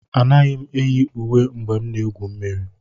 Anaghị m eyi uwe mgbe m na-egwu mmiri